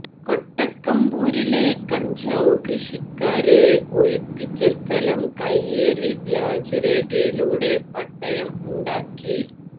കൊട്ടക്കമ്പൂരിലെ കഞ്ചാവ് കൃഷിക്കാരെ ഒഴിപ്പിച്ച സ്ഥലം കൈയേറി വ്യാജ രേഖയിലൂടെ പട്ടയം ഉണ്ടാക്കി